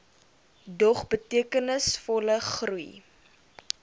dog betekenisvolle groei